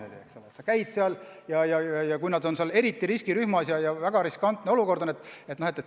Need inimesed on eriti riskirühmas ja olukord oli väga riskantne.